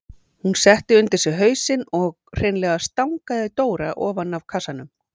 Hún setti undir sig hausinn og hreinlega stangaði Dóra ofan af kassanum.